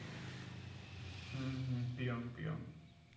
হুম হুম হুম peon peon